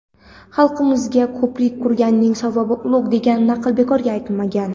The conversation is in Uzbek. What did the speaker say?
"Xalqimizda "Ko‘prik qurganning savobi ulug‘" degan naql bekorga aytilmagan.